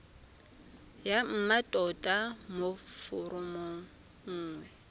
ya mmatota mo foromong nngwe